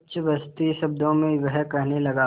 उच्छ्वसित शब्दों में वह कहने लगा